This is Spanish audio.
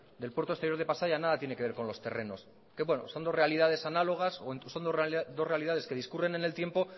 del puerto exterior de pasaia nada tiene que ver con los terrenos que bueno son dos realidades análogas que son dos realidades que discurren en el tiempo